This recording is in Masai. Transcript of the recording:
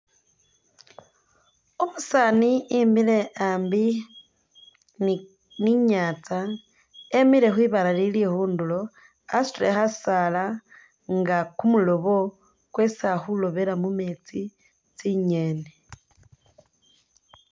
Umusaani imiile ambi ni inyatsa emiile khwibaale lili khundulo, wasutile khasaala nga kumuloobo kwesi ali khulobela mu mumeetsi tsinyeni.